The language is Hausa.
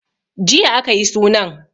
Jiya a ka yi sunan.